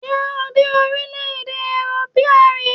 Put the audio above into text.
Ṣé o dé orílẹ̀-èdè Ethiopia rí?